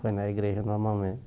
Foi na igreja, normalmente.